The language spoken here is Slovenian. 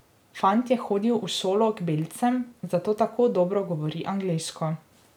Fant je hodil v šolo k belcem, zato tako dobro govori angleško.